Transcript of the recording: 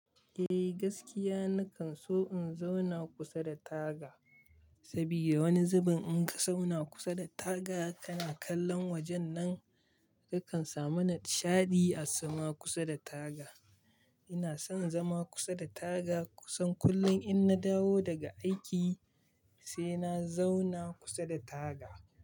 Eh gaskiya nakan so in zauna kusa da taga, sabida wani zubin in ka zauna kusa da taga kana kallon wajen nan kakan samu nishaɗi a zama kusa da taga. Ina son zama kusa da taga kusan kullum in na dawo daga aiki sai na zauna kusa da taga.